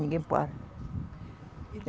Ninguém para.